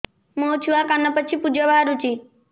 ମୋ ଛୁଆ କାନ ପାଚି ପୂଜ ବାହାରୁଚି